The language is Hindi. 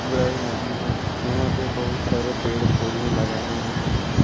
पुरानी नदी है यहां पे बहुत सारे पेड़ पौधे लगाए हुए हैं।